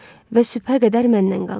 Və sübhə qədər məndən qalır.